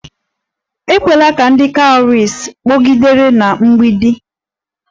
Ekwela ka ndị cowries kpọgidere na mgbidi!